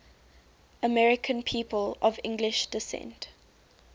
american people of english descent